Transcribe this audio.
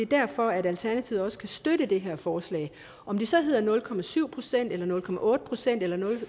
derfor at alternativet kan støtte det her forslag om det så hedder nul procent eller nul procent eller nul